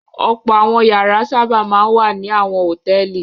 Ọ̀pọ̀ àwọn ìyàrá sábà máa ń wà ní àwọn hòtẹ́ẹ́lì.